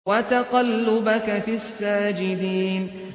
وَتَقَلُّبَكَ فِي السَّاجِدِينَ